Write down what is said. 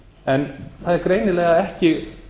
en það er greinilega ekki